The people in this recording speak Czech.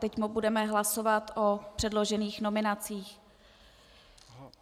Teď budeme hlasovat o předložených nominacích.